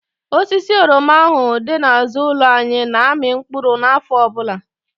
Osisi oroma ahụ dị n'àzụ́ụlọ anyị na-amị mkpụrụ n'áfọ ọbụla.